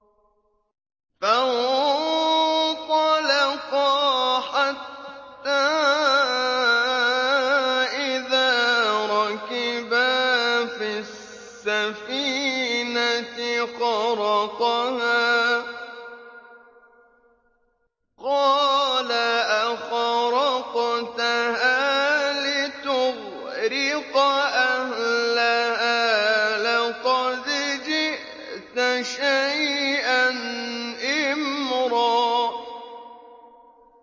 فَانطَلَقَا حَتَّىٰ إِذَا رَكِبَا فِي السَّفِينَةِ خَرَقَهَا ۖ قَالَ أَخَرَقْتَهَا لِتُغْرِقَ أَهْلَهَا لَقَدْ جِئْتَ شَيْئًا إِمْرًا